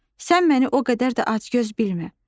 Sən məni o qədər də acgöz bilmə.